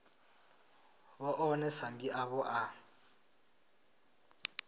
vhe ḽone sambi ḽavho ḽa